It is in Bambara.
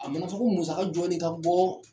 A mana ko musaga jɔɔni ka ka bɔ: